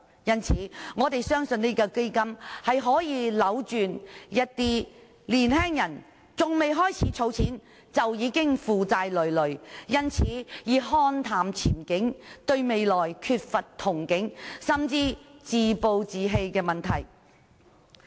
所以，我們相信這項基金可以扭轉一些年青人還未開始儲錢，已經負債累累，因而看淡前景，對未來缺乏憧憬，甚至自暴自棄的問題。